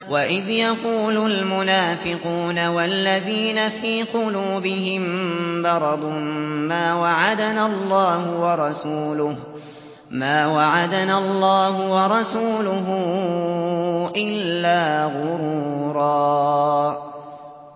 وَإِذْ يَقُولُ الْمُنَافِقُونَ وَالَّذِينَ فِي قُلُوبِهِم مَّرَضٌ مَّا وَعَدَنَا اللَّهُ وَرَسُولُهُ إِلَّا غُرُورًا